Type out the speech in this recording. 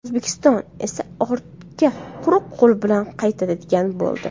O‘zbekiston esa ortga quruq qo‘l bilan qaytadigan bo‘ldi.